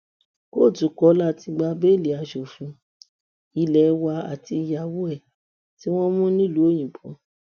kóòtù kọ láti gba bẹẹlí asòfin ilé wa àtìyàwó ẹ tí wọn mú nílùú òyìnbó